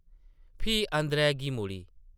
फ्ही अंदरै गी मुड़ी ।